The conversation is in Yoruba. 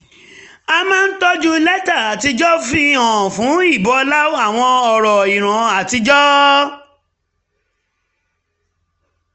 a máa ń tọ́jú lẹ́tà àtijọ́ fi hàn fún ìbọlá àwọn ọ̀rọ̀ ìran àtijọ́